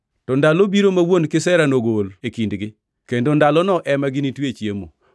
To ndalo biro ma wuon kisera nogol e kindgi, kendo ndalono ema ginitwe chiemo.